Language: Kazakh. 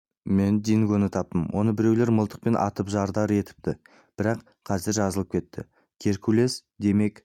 мен дингоны таптым оны біреу мылтықпен атып жарадар етіпті бірақ қазір жазылып кетті геркулес демек